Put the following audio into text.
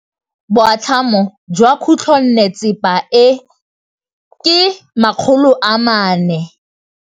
Boatlhamô jwa khutlonnetsepa e, ke 400.